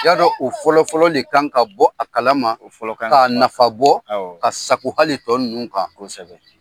Y'a dɔn u fɔlɔfɔlɔ de kan ka bɔ a kala ma, o fɔlɔ kan ka , k'a nafa bɔ. Awɔ. K'a sago hali tɔ ninnu kan. Kosɛbɛ.